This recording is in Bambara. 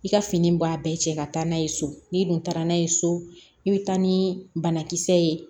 I ka fini ba bɛɛ cɛ ka taa n'a ye so n'i dun taara n'a ye so i bɛ taa ni banakisɛ ye